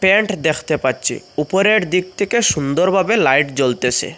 Pant দেখতে পাচ্ছি উপরের দিক থেকে সুন্দরভাবে লাইট জ্বলতেসে ।